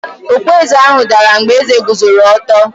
Okpueze ahụ dara mgbe eze guzoro ọtọ.